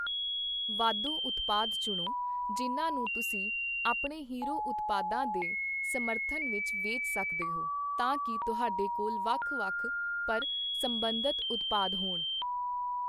ਵਾਧੂ ਉਤਪਾਦ ਚੁਣੋ, ਜਿਨ੍ਹਾਂ ਨੂੰ ਤੁਸੀਂ ਆਪਣੇ ਹੀਰੋ ਉਤਪਾਦਾਂ ਦੇ ਸਮਰਥਨ ਵਿੱਚ ਵੇਚ ਸਕਦੇ ਹੋ, ਤਾਂ ਕਿ ਤੁਹਾਡੇ ਕੋਲ ਵੱਖ-ਵੱਖ, ਪਰ ਸਬੰਧਤ ਉਤਪਾਦ ਹੋਣ।